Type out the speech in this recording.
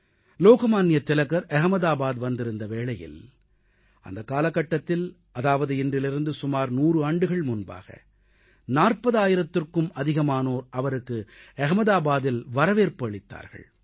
லோகமான்ய திலகர் அகமதாபாத் வந்திருந்த வேளையில் அந்தக் காலகட்டத்தில் அதாவது இன்றிலிருந்து சுமார் 100 ஆண்டுகள் முன்பாக 40000த்திற்கும் அதிகமானோர் அவருக்கு அகமதாபாதில் வரவேற்பு அளித்தார்கள்